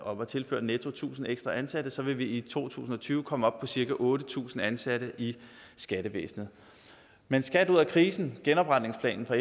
om at tilføre netto tusind ekstra ansatte så vil vi i to tusind og tyve komme op på cirka otte tusind ansatte i skattevæsenet men skat ud af krisen genopretningsplanen fra